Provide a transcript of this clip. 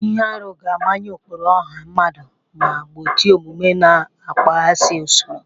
Ihe arụ ga-amanye ụkpụrụ ọha mmadụ ma gbochie omume na-akpaghasị usoro.